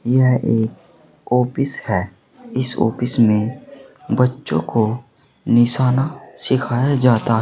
यह एक ऑफिस है इस ऑफिस में बच्चों को निशाना सिखाया जाता--